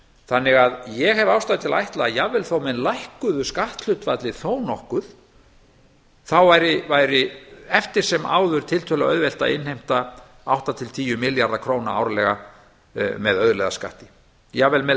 þannig að ég hef ástæðu til að ætla að jafnvel þó menn lækkuðu skatthlutfallið nokkuð þá væri eftir sem áður tiltölulega auðvelt að innheimta átta til tíu milljarða króna árlega með auðlegðarskatti jafnvel með